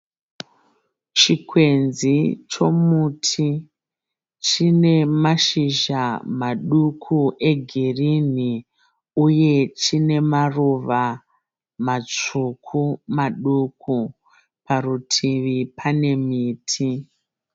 Chikwenzi chomuti, chine mashizha maduku egirinhi. Uye chine maruva matsvuku maduku. Parutivi pane miti.